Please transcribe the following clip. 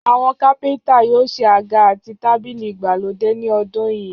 Àwọn kápẹ́ntà yóò ṣe àga àti tábìlì ìgbàlódé ní ọdún yìí